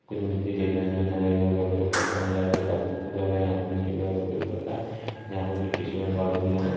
कुछ मिट्टी देख रहे है जो धरे वगैरह का उपयोग करता यहां जो काफी लग रहा है यहां पर गिट्टी सीमेंट वालों की तरह नहीं--